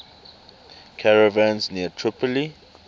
caravans near tripoli